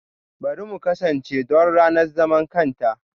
Bari mu kasance don ranar zaman kanta!